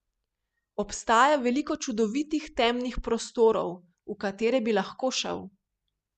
Obstaja veliko čudovitih temnih prostorov, v katere bi lahko šel.